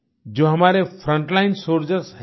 जो हमारे front line soldiers हैं